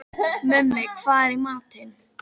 Mummi, hvað er í matinn?